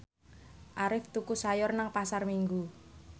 Arif tuku sayur nang Pasar Minggu